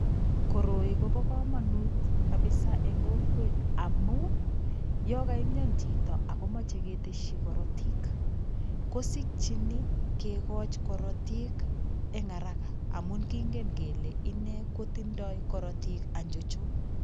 Koroi Kobo kamanut kabisa eng kokwet amu yo kaimian chito ako moche ketesyi korotik, kosikyini kikoch korotik eng haraka amun kingen kele ine kotindoi korotik anchocho.